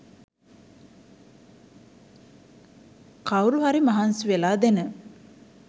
කව්රු හරි මහන්සි වෙලා දෙන